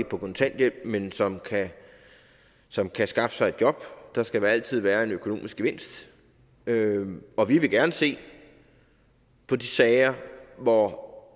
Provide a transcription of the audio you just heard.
på kontanthjælp men som som kan skaffe sig et job der skal altid være en økonomisk gevinst og vi vil gerne se på de sager hvor